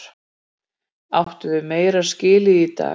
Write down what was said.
Áttum við meira skilið í dag?